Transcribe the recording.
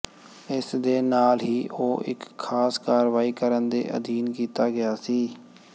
ਇਸ ਦੇ ਨਾਲ ਹੀ ਉਹ ਇੱਕ ਖਾਸ ਕਾਰਵਾਈ ਕਰਨ ਦੇ ਅਧੀਨ ਕੀਤਾ ਗਿਆ ਸੀ